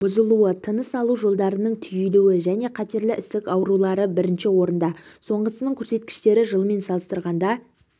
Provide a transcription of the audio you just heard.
бұзылуы тыныс алу жолдарының түйілуі және қатерлі ісік аурулары бірінші орында соңғысының көрсеткіштері жылмен салыстырғанда